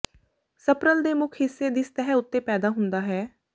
ਸਪਰਲ ਦੇ ਮੁੱਖ ਹਿੱਸੇ ਦੀ ਸਤਹ ਉੱਤੇ ਪੈਦਾ ਹੁੰਦਾ ਹੈ